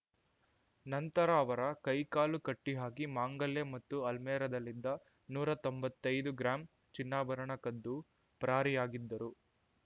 ನಂತರ ಅವರ ಕೈ ಕಾಲು ಕಟ್ಟಿಹಾಕಿ ಮಾಂಗಲ್ಯ ಮತ್ತು ಅಲ್ಮೆರಾದಲ್ಲಿದ್ದ ನೂರಾ ತೊಂಬತ್ತೈದು ಗ್ರಾಂ ಚಿನ್ನಾಭರಣ ಕದ್ದು ಪರಾರಿಯಾಗಿದ್ದರು